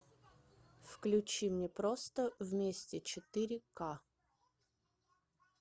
включи мне просто вместе четыре ка